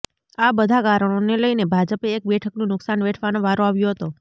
આ બધા કારણોને લઈને ભાજપે એક બેઠકનુ નુક્શાન વેઠવાનો વારો આવ્યો હતો